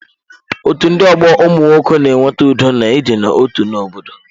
Otú ndị ọgbọ ụmụnwoke na-eweta udo na idina otu na obodo